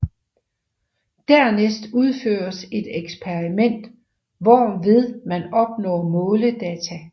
Dernæst udføres et eksperiment hvorved man opnår måledata